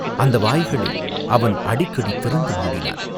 அந்த வாய்களை அவன் அடிக்கடி திறந்து மூடினான்.